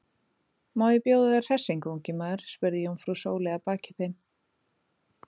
Má ég bjóða þér hressingu, ungi maður? spurði jómfrú Sóley að baki þeim.